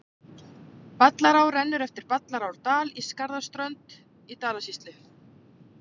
Ballará rennur eftir Ballarárdal á Skarðsströnd í Dalasýslu.